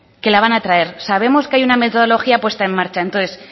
que la van a traer sabemos que hay una metodología puesta en marcha entonces